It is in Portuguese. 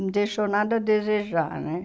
Não deixou nada a desejar, né?